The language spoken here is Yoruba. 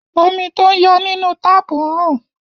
Omi tó ń yọ nínú táàpù ń rùn.